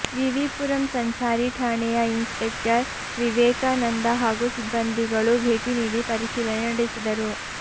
ವಿವಿಪುರಂ ಸಂಚಾರಿ ಠಾಣೆಯ ಇನ್ಸಪೆಕ್ಟರ್ ವಿವೇಕಾನಂದ ಹಾಗೂ ಸಿಬ್ಬಂದಿಗಳು ಭೇಟಿ ನೀಡಿ ಪರಿಶೀಲನೆ ನಡೆಸಿದರು